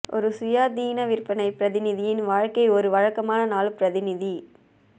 ஒரு சுயாதீன விற்பனை பிரதிநிதியின் வாழ்க்கை ஒரு வழக்கமான நாள் பிரதிநிதி